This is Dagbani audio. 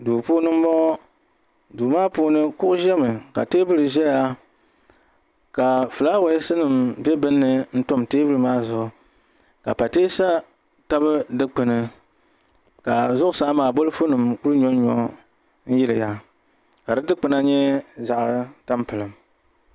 Duu puuni n boŋo duu maa puuni kuɣu ʒɛmi ka teebuli ʒɛya ka fulaawaasi nim bɛ binni n tam teebuli maa zuɣu ka pateesa tabi dikpuni ka zuɣusaa maa bolfu nim kuli nyonyo yiliya ka di dikpuni nyɛ zaɣ tampilim